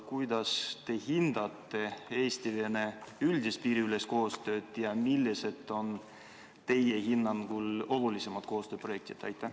Kuidas te hindate Eesti-Venemaa üldist piiriülest koostööd ja millised on teie hinnangul olulisemad koostööprojektid?